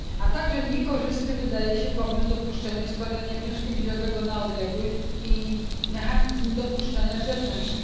Równie niekorzystny wydaje się pomysł dopuszczenia składania wniosku wizowego na odległość i mechanizm dopuszczania usługodawców zewnętrznych.